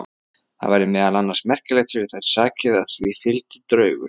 Það væri meðal annars merkilegt fyrir þær sakir að því fylgdi draugur.